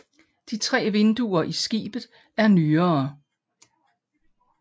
De tre vinduer i skibet er nyere